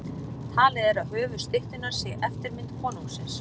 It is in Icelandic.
Talið er að höfuð styttunnar sé eftirmynd konungsins.